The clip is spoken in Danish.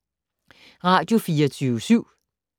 Radio24syv